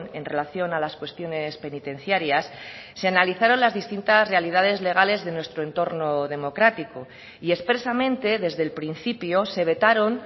en relación a las cuestiones penitenciarias se analizaron las distintas realidades legales de nuestro entorno democrático y expresamente desde el principio se vetaron